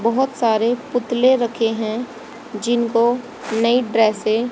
बहोत सारे पुतले रखे हैं जिनको नई ड्रेसें --